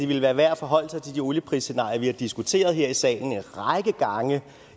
ville være værd at forholde sig til de olieprisscenarier vi har diskuteret her i salen en række gange